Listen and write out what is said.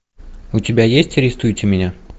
у тебя есть арестуйте меня